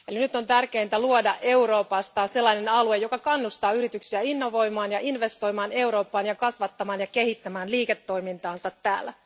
Nyt on tärkeintä luoda Euroopasta alue, joka kannustaa yrityksiä innovoimaan ja investoimaan Eurooppaan ja kasvattamaan ja kehittämään liiketoimintaansa täällä.